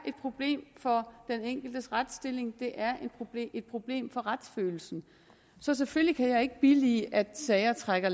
et problem for den enkeltes retsstilling det er et problem for retsfølelsen så selvfølgelig kan jeg ikke billige at sager trækker